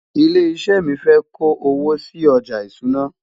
ilé iṣé mí fé kò owó sí ọjà ìṣúná